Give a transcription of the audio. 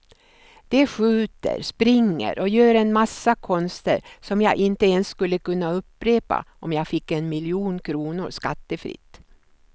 De skjuter, springer och gör en massa konster som jag inte ens skulle kunna upprepa om jag fick en miljon kronor skattefritt.